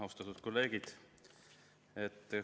Austatud kolleegid!